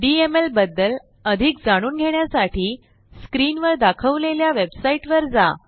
DMLबद्दल अधिक जाणून घेण्यासाठी screenवर दाखवलेल्या वेबसाईटवर जा